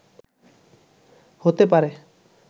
হতে পারে